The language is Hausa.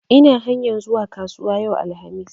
Ina hanyar zuwa kasuwa yau, alhamis